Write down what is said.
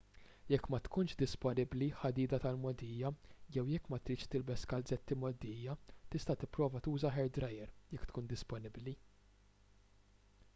jekk ma tkunx disponibbli ħadida tal-mogħdija jew jekk ma tridx tilbes kalzetti mgħoddija tista' tipprova tuża hair dryer jekk tkun disponibbli